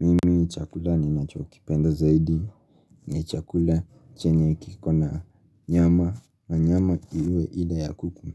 Mimi chakula ni nacho kipenda zaidi ni chakula chenye kikona nyama na nyama iwe ile ya kuku.